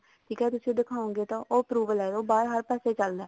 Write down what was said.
ਠੀਕ ਹੈ ਤੁਸੀਂ ਦਿਖਾਓਗੇ ਤਾਂ approval ਹੈ ਉਹ ਬਾਹਰ ਹਰ ਪਾਸੇ ਚੱਲਦਾ